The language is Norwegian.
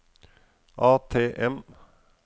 ATM